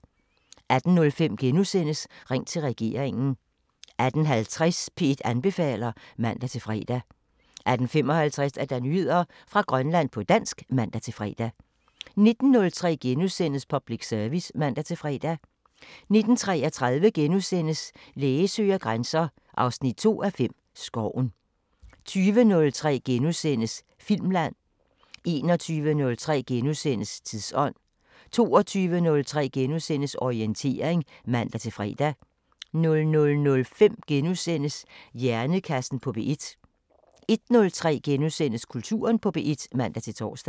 18:05: Ring til regeringen * 18:50: P1 anbefaler (man-fre) 18:55: Nyheder fra Grønland på dansk (man-fre) 19:03: Public Service *(man-fre) 19:33: Læge søger grænser 2:5 – Skoven * 20:03: Filmland * 21:03: Tidsånd * 22:03: Orientering *(man-fre) 00:05: Hjernekassen på P1 * 01:03: Kulturen på P1 *(man-tor)